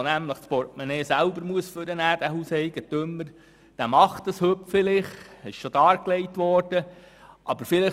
Wer das Portemonnaie selber hervornehmen muss, macht das heute vielleicht.